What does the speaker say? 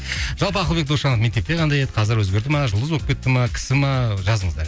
жалпы ақылбек досжанов мектепте қандай еді қазір өзгерді ме жұлдыз болып кетті ме кісі ме жазыңыздар